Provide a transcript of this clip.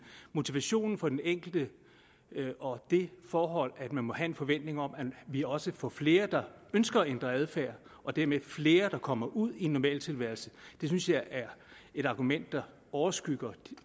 motivationen for den enkelte og det forhold at man må have en forventning om at vi også får flere der ønsker at ændre adfærd og dermed flere der kommer ud i en normal tilværelse synes jeg er et argument der overskygger